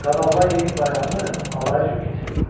Qabaqlar Yeni il bayramını alay-cüray keçirirdilər.